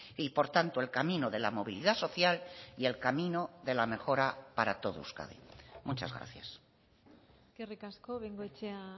y por tanto el camino de la movilidad social y el camino de la mejora para todo euskadi muchas gracias eskerrik asko bengoechea